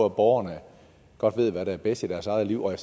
at borgerne godt ved hvad der er bedst i deres eget liv og at